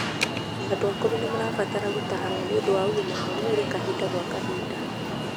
Andũ akũru nĩmarabatara gũtarwo nĩũndu wa ũgima wa mwĩri kahinda gwa kahinda